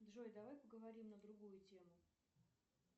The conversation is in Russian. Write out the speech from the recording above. джой давай поговорим на другую тему